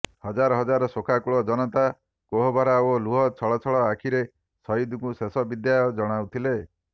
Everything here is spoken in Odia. ହଜାର ହଜାର ଶୋକାକୁଳ ଜନତା କୋହଭରା ଓ ଲୁହ ଛଳ ଛଳ ଆଖିରେ ସହିଦଙ୍କୁ ଶେଷ ବିଦାୟ ଜଣାଉଥିଲେ